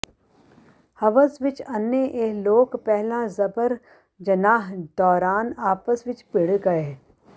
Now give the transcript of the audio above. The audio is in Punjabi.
ਹਵਸ ਵਿੱਚ ਅੰਨ੍ਹੇ ਇਹ ਲੋਕ ਪਹਿਲਾਂ ਜਬਰ ਜਨਾਹ ਦੌਰਾਨ ਆਪਸ ਵਿੱਚ ਭਿੜ ਗਏ